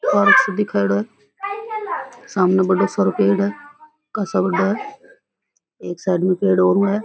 Park सो दिखायोड़ो है सामने बढ़ो सारो पेड़ है काशा बढ़ो है एक साइड में पेड़ ओरु है।